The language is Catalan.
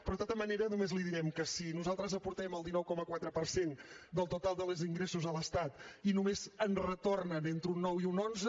però de tota manera només li direm que si nosaltres aportem el dinou coma quatre per cent del total dels ingressos a l’estat i només en retornen entre un nou i un onze